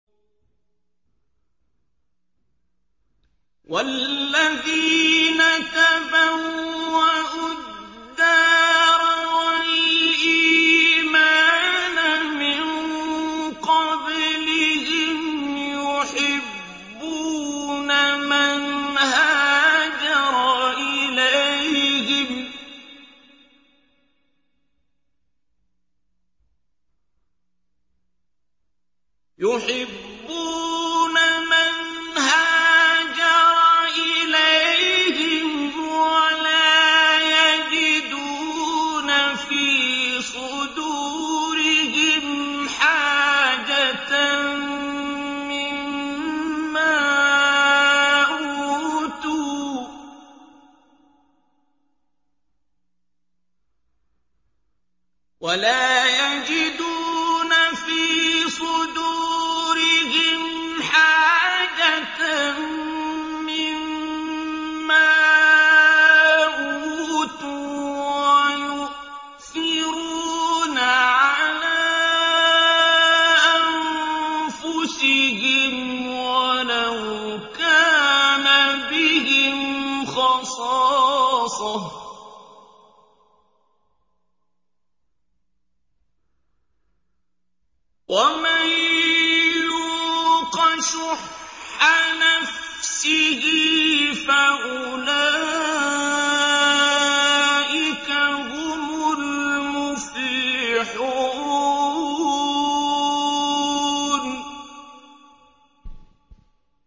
وَالَّذِينَ تَبَوَّءُوا الدَّارَ وَالْإِيمَانَ مِن قَبْلِهِمْ يُحِبُّونَ مَنْ هَاجَرَ إِلَيْهِمْ وَلَا يَجِدُونَ فِي صُدُورِهِمْ حَاجَةً مِّمَّا أُوتُوا وَيُؤْثِرُونَ عَلَىٰ أَنفُسِهِمْ وَلَوْ كَانَ بِهِمْ خَصَاصَةٌ ۚ وَمَن يُوقَ شُحَّ نَفْسِهِ فَأُولَٰئِكَ هُمُ الْمُفْلِحُونَ